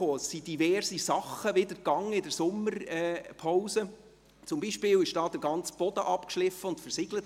Während der Sommerpause wurden wiederum diverse Arbeiten gemacht, zum Beispiel wurde hier der ganze Boden abgeschliffen und versiegelt.